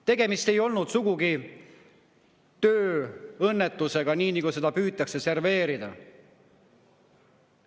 Tegemist ei olnud sugugi tööõnnetusega, nii nagu seda püütakse serveerida.